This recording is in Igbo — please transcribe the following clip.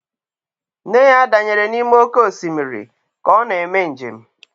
Nne ya danyere n'ime oké osimiri ka ọ na-eme njem